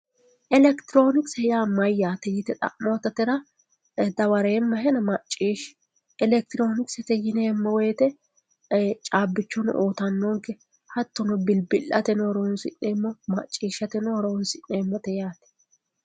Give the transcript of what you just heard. elekitiroonikise yaa mayyaate yite xa'moototera dawareemmahena macciishshi elekitiroonikise yineemmo wote caabbichono uyiitannonke hattono bilbi'lateno horonsi'neemmote macciishshateno horonsi'neemmote yaate.